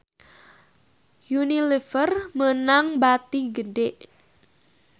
Unilever meunang bati gede